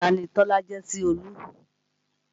Tani Tọ́lá jẹ́ sí Olú?